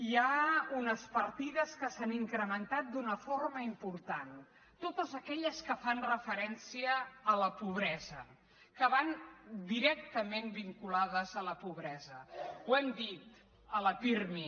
hi ha unes partides que s’han incrementat d’una forma important totes aquelles que fan referència a la pobresa que van directament vinculades a la pobresa ho hem dit a la pirmi